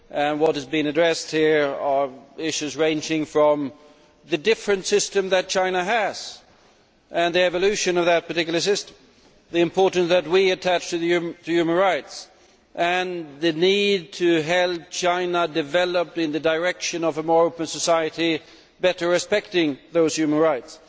What has been addressed here are issues ranging from the different system that China has and the evolution of that particular system, the importance that we attach to human rights and the need to help China develop in the direction of a more open society, better respecting those human rights,